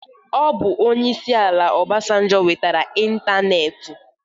Ọbụ Onyeisi ala Ọbasanjọ wetara ịntanetị.